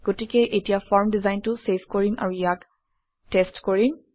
গতিকে এতিয়া ফৰ্ম ডিজাইনটো চেভ কৰিম আৰু ইয়াক টেষ্ট কৰিম